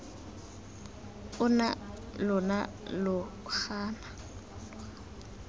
ona mme lona lo gana